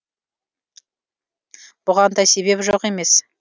бұған да себеп жоқ емес